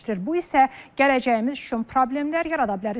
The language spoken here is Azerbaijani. Bu isə gələcəyimiz üçün problemlər yarada bilər.